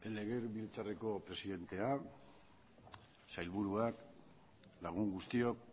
legebiltzarreko presidentea sailburuak lagun guztiok